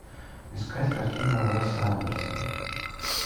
искать картину уэса андерсона